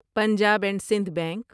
Punjab and Sindh bank